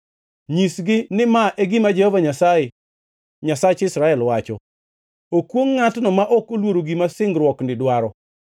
Nyisgi ni ma e gima Jehova Nyasaye, Nyasach Israel, wacho: ‘Okwongʼ ngʼatno ma ok oluoro gima singruokni dwaro,